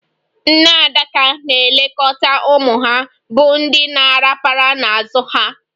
Nne adaka na-elekọta ụmụ ha, bụ ndị na-arapara n'azụ ha.